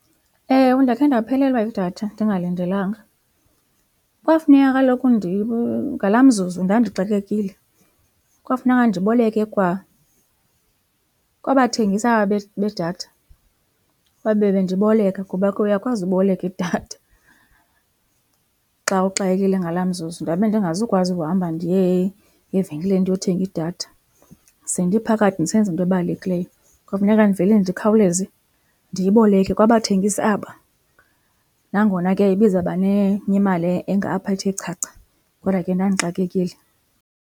Ewe, ndakhe ndaphelelwa yidatha ndingalindelanga. Kwafuneka kaloku , ngalaa mzuzu ndandixakekile, kwafuneka ndiboleke kwa kwabathengisi aba bedatha babe bendiboleka kuba ke uyakwazi uboleka idatha xa uxakekile ngalaa mzuzu. Ndabe ndingazukwazi ukuhamba ndiye evenkileni ndiyothenga idatha sendiphakathi ndisenza into ebalulekileyo. Kwafuneka ndivele ndikhawuleze ndiyiboleke kwabathengisi aba nangona ke ibizawuba nemali engapha ethe chacha, kodwa ke ndandixakekile.